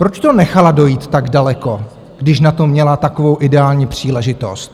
Proč to nechala dojít tak daleko, když na to měla takovou ideální příležitost?